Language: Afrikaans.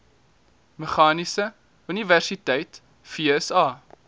meganiese universiteit vsa